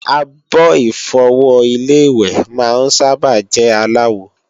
Àbo-Ìfọwọ́ Ilé-ìwẹ̀ máa ń sábà jẹ́ aláwo